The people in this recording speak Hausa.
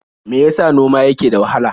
Me ya sa noma yake da wahala?